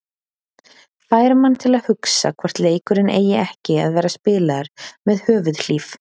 Fær mann til að hugsa hvort leikurinn eigi ekki að vera spilaður með höfuðhlíf.